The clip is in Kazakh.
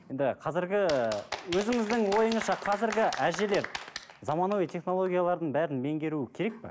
енді қазіргі өзіңіздің ойыңызша қазіргі әжелер заманауи технологиялардың бәрін меңгеруі керек пе